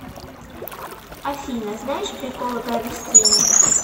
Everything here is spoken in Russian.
афина знаешь приколы про растения